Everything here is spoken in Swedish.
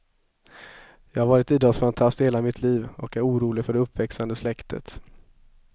Jag har varit idrottsfantast i hela mitt liv och är orolig för det uppväxande släktet.